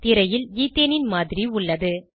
திரையில் ஈத்தேன் மாதிரி உள்ளது